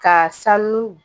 Ka sanu